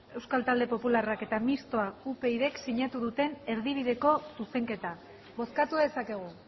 euskal talde popularrak eta mistoa upydk sinatu duten erdibideko zuzenketa bozkatu dezakegu